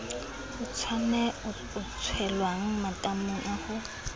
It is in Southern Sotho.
e tshelwang matamong a ho